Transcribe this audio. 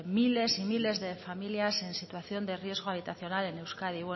miles y miles de familias en situación de riesgo habitacional en euskadi